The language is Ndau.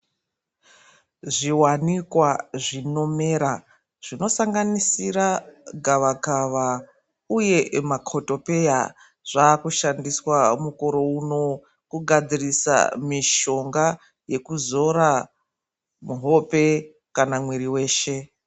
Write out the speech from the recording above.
Zviwanikwa zvinomera zvinosanganisira gavakava uye makotopeya zvakushandiswa mukore uno. Kugadzirisa mishonga yekuzora muhope kana mwiri weshe.